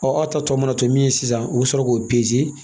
Ɔ aw ta tɔ mana to min sisan u bɛ sɔrɔ k'o